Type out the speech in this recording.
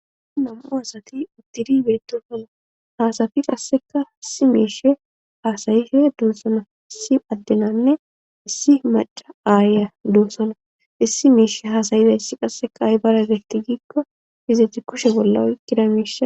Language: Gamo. nam7u asati uttidi beetosona hsafe qasseka issi miishe haasayishe duossona issi addenanne issi maca aaya duussona issi miishe haasayida issi qasseka aybarazerti giikko izeti kushe bolla oykkida miish